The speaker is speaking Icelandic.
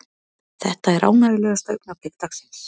Þetta er ánægjulegasta augnablik dagsins.